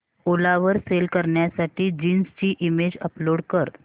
ओला वर सेल करण्यासाठी जीन्स ची इमेज अपलोड कर